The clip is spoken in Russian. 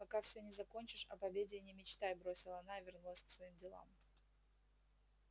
пока все не закончишь об обеде и не мечтай бросила она и вернулась к своим делам